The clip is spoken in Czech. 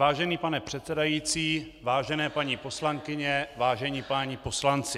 Vážený pane předsedající, vážené paní poslankyně, vážení páni poslanci.